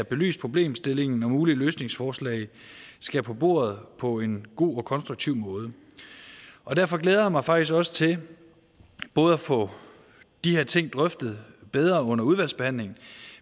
belyst problemstillingen og mulige løsningsforslag skal på bordet på en god og konstruktiv måde derfor glæder jeg mig faktisk også til både at få de her ting drøftet bedre under udvalgsbehandlingen